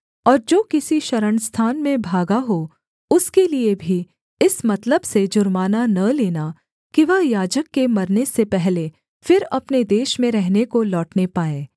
और जो किसी शरणस्थान में भागा हो उसके लिये भी इस मतलब से जुर्माना न लेना कि वह याजक के मरने से पहले फिर अपने देश में रहने को लौटने पाए